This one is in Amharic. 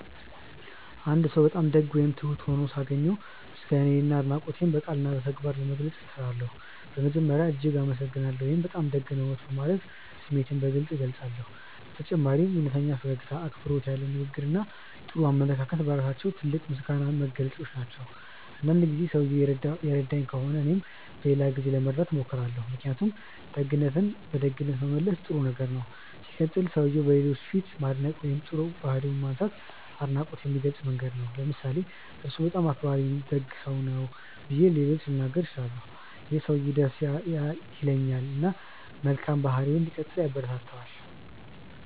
አንድ ሰው በጣም ደግ ወይም ትሁት ሆኖ ሳገኝ ምስጋናዬንና አድናቆቴን በቃልና በተግባር ለመግለጽ እጥራለሁ። በመጀመሪያ "እጅግ አመሰግናለሁ" ወይም “በጣም ደግ ነዎት” በማለት ስሜቴን በግልጽ እገልጻለሁ። በተጨማሪም እውነተኛ ፈገግታ፣ አክብሮት ያለው ንግግር እና ጥሩ አመለካከት በራሳቸው ትልቅ የምስጋና መግለጫዎች ናቸው። አንዳንድ ጊዜ ሰውየው የረዳኝ ከሆነ እኔም በሌላ ጊዜ ለመርዳት እሞክራለሁ። ምክንያቱም ደግነትን በደግነት መመለስ ጥሩ ነገር ነው። ሲቀጥል, ሰውየውን በሌሎች ፊት ማድነቅ ወይም ጥሩ ባህሪውን ማንሳት አድናቆትን የሚገልጽ መንገድ ነው። ለምሳሌ "እርሱ በጣም አክባሪና ደግ ሰው ነው" ብዬ ለሌሎች ልናገር እችላለሁ። ይህ ሰውየውን ደስ ያሰኛል እና መልካም ባህሪውን እንዲቀጥል ያበረታታል።